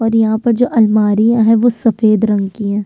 और यहाँ पर जो अलमारियां हैं वो सफ़ेद रंग की है।